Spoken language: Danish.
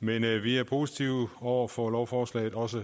men vi er positive over for lovforslaget også